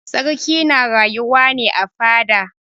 Sarki na rayuwa ne a fada.